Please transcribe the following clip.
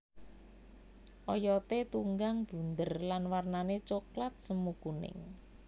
Oyoté tunggang bunder lan warnané coklat semu kuning